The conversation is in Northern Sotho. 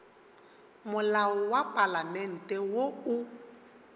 molao wa palamente wo o